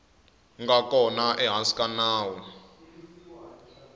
nga kona ehansi ka nawu